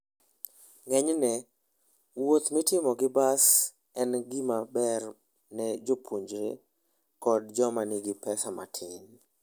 Ng'enyne, wuoth mitimo gi bas en gima ber ne jopuonjre koda joma nigi pesa matin.